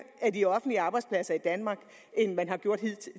af de offentlige arbejdspladser i danmark end man har gjort